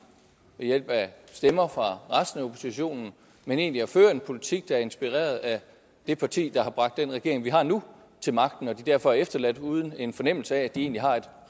ved hjælp af stemmer fra resten af oppositionen og egentlig at føre en politik der er inspireret af det parti der har bragt den regering vi har nu til magten og at folk derfor er efterladt uden en fornemmelse af at de egentlig har et